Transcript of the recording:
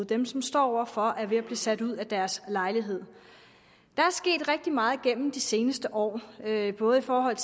dem som står over for at blive sat ud af deres lejlighed der er sket rigtig meget gennem de seneste år både i forhold